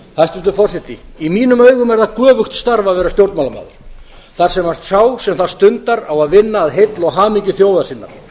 hæstvirtur forseti í mínum augum er það göfugt starf að vera stjórnmálamaður þar sem sá sem það stundar á að vinna að heill og hamingju þjóðar sinnar